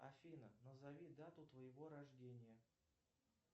афина назови дату твоего рождения